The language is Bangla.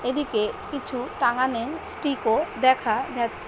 এদিকে কিছু টাঙ্গানে স্টিক - ও দেখা যাচ্ছ--